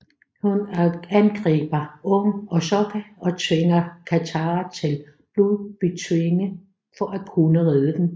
Hun angriber Aang og Sokka og tvinger Katara til at blodbetvinge for at kunne redde dem